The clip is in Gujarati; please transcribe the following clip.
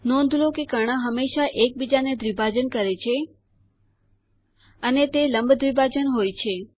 નોંધ લો કે કર્ણ હંમેશા એક બીજાને દ્વિભાજન કરે છે અને તે લંબ દ્વિભાજન હોય છે